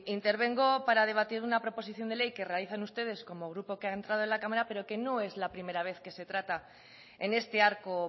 intervengo para debatir una proposición de ley que realizan ustedes como grupo que ha entrado en la cámara pero que no es la primera vez que se trata en este arco